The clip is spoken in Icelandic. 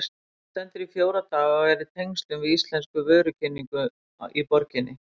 Hún stendur í fjóra daga og er í tengslum við íslenska vörukynningu í borginni.